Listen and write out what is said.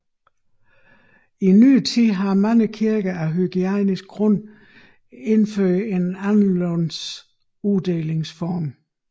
I nyere tid har mange kirker af hygiejniske grunde indført anderledes uddelingsformer